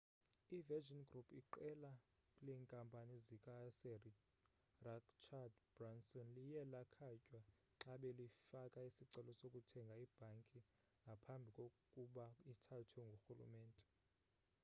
i-virgin group iqela leenkampani zika-sir rachard branson liye lakhatywa xa belifaka isicelo sokuthenga ibhanki ngaphambi kkuba ithathwe ngurhulumente